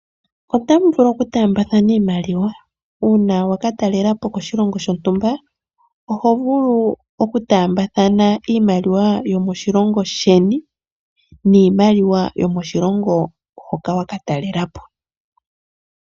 Otamu vulu okutaambathana iimaliwa uuna waka talela po koshilongo shontumba oho vulu okutaambathana iimaliwa yomoshilongo sheni niimaliwa yo moshilongo moka waka talele po .